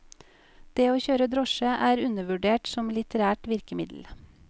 Det å kjøre drosje er undervurdert som litterært virkemiddel.